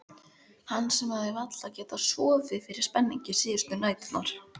Hann sem hafði varla getað sofið fyrir spenningi síðustu næturnar.